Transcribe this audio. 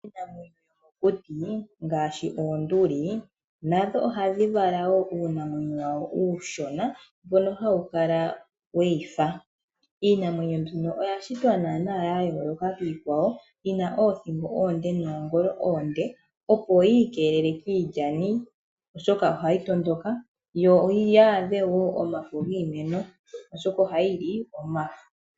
Iinamwenyo yomokuti ngaashi oonduli nadho ohadhi vala uunamwena uushona we wu dhi fa. Iinamwenyo mbino oya shitwa ya yooloka kiikwawo ya tya oothingo oonde noongolo oonde opo yiikelele kiilyani oshoka ohayi tondoka, yo yaadhe omafo giimeno, oshoka ohayi li omafo.